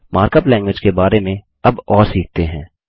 markup language के बारे में अब और सीखते हैं